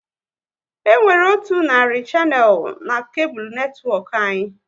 E nwere otu narị shanel n'kable netwọk anyị